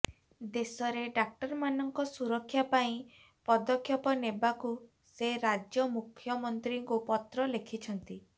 ଦେଶରେ ଡାକ୍ତରମାନଙ୍କ ସୁରକ୍ଷା ପାଇଁ ପଦକ୍ଷେପ ନେବାକୁ ସେ ରାଜ୍ୟମୁଖ୍ୟମନ୍ତ୍ରୀମାନଙ୍କୁ ପତ୍ର ଲେଖିଛନ୍ତି